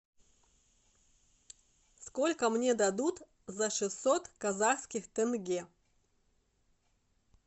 сколько мне дадут за шестьсот казахских тенге